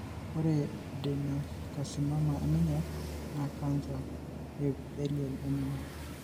Ore eAdenocarcinoma eminyor naa cancer ee epithelial eminyor.